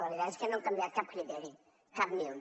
la veritat és que no ha canviat cap criteri cap ni un